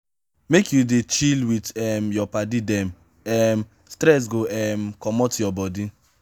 make you dey chill wit um your paddy dem um stress go um comot your bodi.